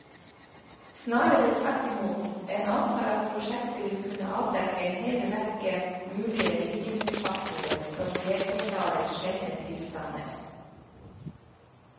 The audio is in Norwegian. Snarere tvert imot, en antar at prosjektet vil kunne avdekke en hel rekke mulige risikofaktorer som delforklarer sjeldne tilstander.